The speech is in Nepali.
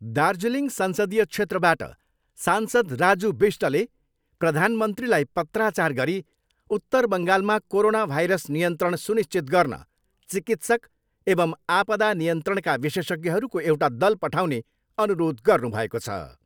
दार्जिलिङ संसदीय क्षेत्रबाट सांसद राजु विष्टले प्रधानमन्त्रीलाई पत्राचार गरी उत्तर बङ्गालमा कोरोना भाइरस नियन्त्रण सुनिश्चित गर्न चिकित्सक एवम् आपदा नियन्त्रणका विशेषज्ञहरूको एउटा दल पठाउने अनुरोध गर्नुभएको छ।